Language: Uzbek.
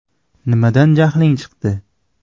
Nimadan jahling chiqdi?